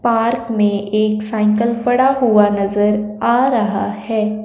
Park में एक cycle पड़ा हुआ नजर आ रहा है।